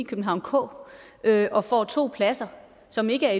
københavn k og får to pladser som ikke er